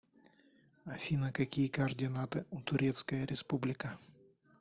афина какие координаты у турецкая республика